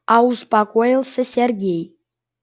а успокоился сергей